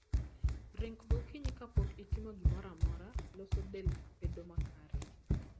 Ringo gokinyi kapok itimo gimoramora loso del bedo makare